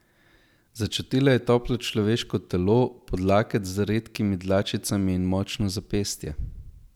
Začutila je toplo človeško telo, podlaket z redkimi dlačicami in močno zapestje.